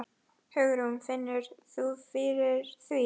Hugrún: Finnur þú fyrir því?